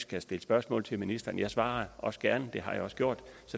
kan stille spørgsmål til ministeren jeg svarer også gerne det har jeg også gjort